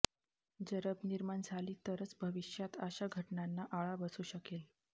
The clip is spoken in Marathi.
जरब निर्माण झाली तरच भविष्यात अशा घटनांना आळा बसू शकेल